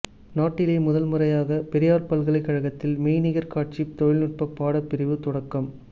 நாட்டிலேயே முதல்முறையாக பெரியார் பல்கலைக்கழகத்தில் மெய்நிகர்க் காட்சித் தொழில்நுட்பப் பாடப்பிரிவு தொடக்கம்